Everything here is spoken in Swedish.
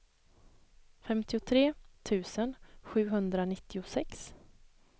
femtiotre tusen sjuhundranittiosex